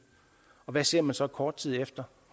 og hvad ser man så kort tid efter